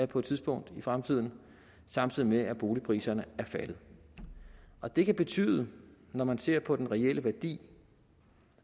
på et tidspunkt i fremtiden samtidig med at boligpriserne er faldet og det kan betyde at når man ser på den reelle værdi